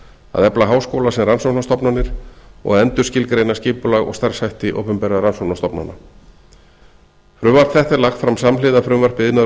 að efla háskóla sem rannsóknastofnanir og að endurskilgreina skipulag og starfshætti opinberra rannsóknastofnana frumvarp þetta er lagt fram samhliða frumvarpi iðnaðar og